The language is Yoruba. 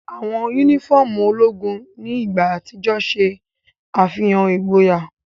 Awọn unifọmú ologun ni igba atijọ ṣe afihan igboya.